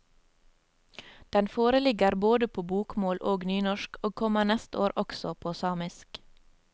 Den foreligger både på bokmål og nynorsk og kommer neste år også på samisk.